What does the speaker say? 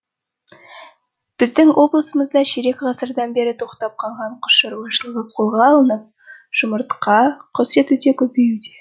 біздің облысымызда ширек ғасырдан бері тоқтап қалған құс шаруашылығы қолға алынып жұмыртқа құс еті де көбеюде